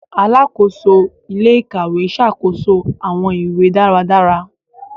Alàkóso ilé-íkàwe ṣàkóso awọn ìwé dáradára.